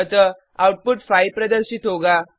अतः आउटपुट 5 प्रदर्शित होगा